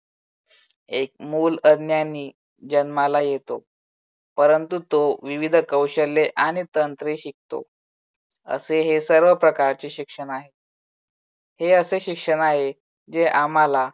एक मुल अज्ञानी जन्माला येतो परंतु तो विविध कौशल्ये आणि तंत्रे शिकतो. असे हे सर्व प्रकारचे शिक्षण आहे. हे असे शिक्षण आहे जे आम्हाला